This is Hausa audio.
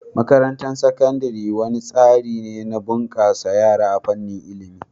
Makarantar Sakandare wani tsari ne na bunkasa yara a fannin ilimi.